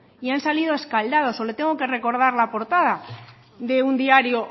y han salido escaldados o le tengo que recordar la portada de un diario